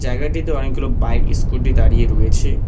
জায়গাটিতে অনেকগুলো bike scooty দাঁড়িয়ে রয়েছে।